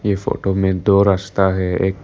ये फोटो में दो रस्ता है एक--